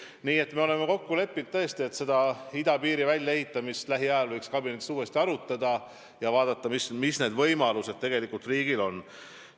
Me oleme tõesti kokku leppinud, et idapiiri väljaehitamist võiks kabinetis lähiajal uuesti arutada ja vaadata, millised võimalused riigil tegelikult on.